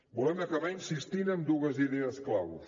volem acabar insistint en dues idees claus